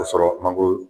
Ka sɔrɔ mangoro